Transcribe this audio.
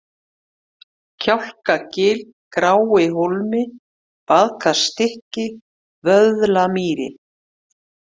Kjálkagil, Gráihólmi, Baðkersstykki, Vöðlamýri